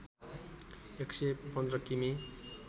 एकसय १५ किमि